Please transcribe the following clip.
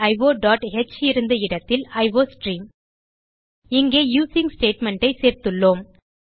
stdioஹ் இருந்த இடத்தில் அயோஸ்ட்ரீம் இங்கே யூசிங் statementஐ சேர்த்துள்ளோம்